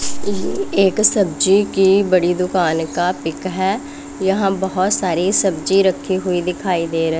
ये एक सब्जी की बड़ी दुकान का पिक है यहां बहोत सारी सब्जी रखी हुई दिखाई दे र--